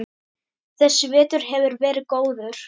Þessi vetur hefur verið góður.